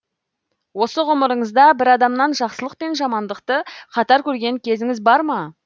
осы ғұмырыңызда бір адамнан жақсылық пен жамандықты қатар көрген кезіңіз бар ма